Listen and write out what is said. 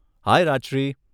હાય Rajshree.